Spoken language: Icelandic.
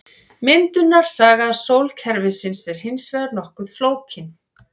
Myndunarsaga sólkerfisins er hins vegar nokkuð flókin.